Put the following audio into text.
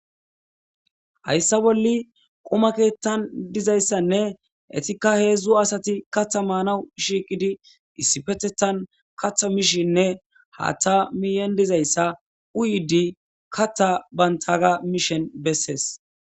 hayssa bolli quma keethan dizayssanne etikka heedzdzu asati katha maanawu shiiqidi issipetethan katha mishinne haththa miyen dizayssa uyidi katha bantaga mishin bessees